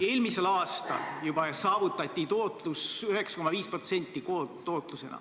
Eelmisel aastal juba saavutati koondtootlusena tootlus 9,5%.